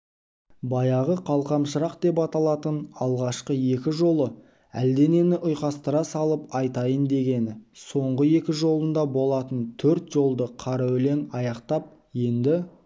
баяғы қалқам шырақ деп аталатын алғашқы екі жолы әлденені ұйқастыра салып айтайын дегені соңғы екі жолында болатын төрт жолды қара өлең аяқтап енді